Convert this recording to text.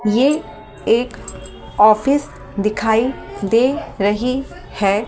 ये एक ऑफिस दिखाई दे रही है।